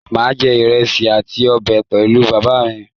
Màa jẹ ìrẹsì àti ọbẹ pẹ̀lú bàbá mí